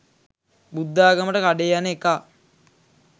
බුද්ධාගමට කඩේ යන එකා